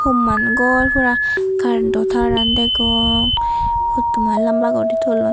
homman gor pura karento taran degong hottoman lamba guri tullon.